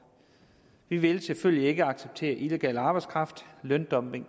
vi vil selvfølgelig ikke acceptere illegal arbejdskraft løndumping og